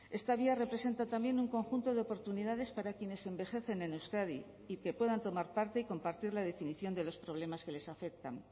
esta vía representa también un conjunto de oportunidades para quienes envejecen en euskadi y que puedan tomar parte y compartir la definición de los problemas que les afectan